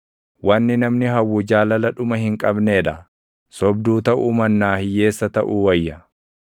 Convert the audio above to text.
Wanni namni hawwu jaalala dhuma hin qabnee dha; sobduu taʼuu mannaa hiyyeessa taʼuu wayya.